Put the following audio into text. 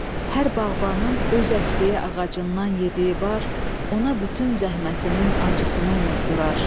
Hər bağbanın öz əkdiyi ağacından yediyi bar ona bütün zəhmətinin acısını unutdurar.